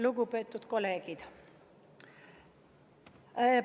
Lugupeetud kolleegid!